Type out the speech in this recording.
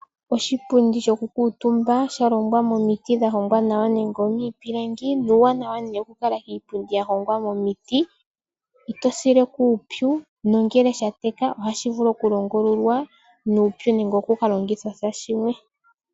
Oshipundi sho kukuutumba shalongwa momiti dhahongwa nawa nenge miipilangi, nuuwanawa nee wokukala kiipundi ya longwa momiti itosileko uupyu nongele shateka ohashivulu oku longululwa nuupu nenge oku ka longithwasha shilwe.